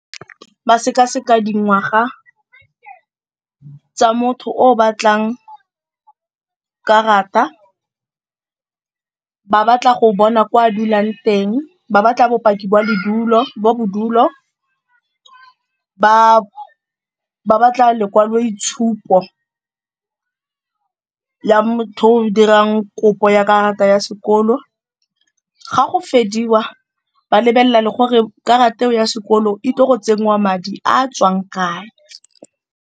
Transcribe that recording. Ba sekaseka dingwaga tsa motho o o batlang karata, ba batla go bona kwa a dulang teng, ba batla bopaki boa bo bodulo, ba batla lekwaloitshupo ya motho o dirang kopo ya karata ya sekolo. Ga go ba lebelela le gore karata eo ya sekoloto e tle go tsenngwa madi a a tswang kae.